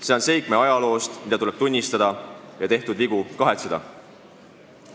See on seik meie ajaloost, mida tuleb tunnistada ja tehtud vigu kahetseda.